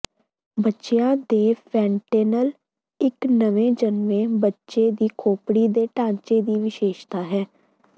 ਬੱਚਿਆਂ ਦੇ ਫੈਨਟੈਨਲ ਇੱਕ ਨਵੇਂ ਜਨਮੇ ਬੱਚੇ ਦੀ ਖੋਪਰੀ ਦੇ ਢਾਂਚੇ ਦੀ ਵਿਸ਼ੇਸ਼ਤਾ ਹੈ